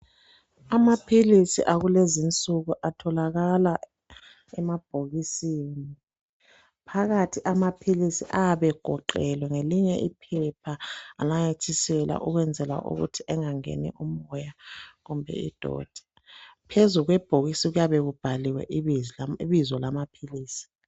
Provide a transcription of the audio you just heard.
Amaphilisi akulezinsuku atholakala emabhokisini. Phakathi amaphilisi ayabegoqelwe ngelinye iphepha lananyathiselwa ukwenzela ukuthi engangeni umoya kumbe idoti. Phezu kwebhokisi kuyabe kubhaliwe ibizo lamaphilisi.